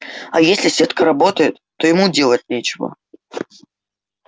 а если сетка работает то ему делать нечего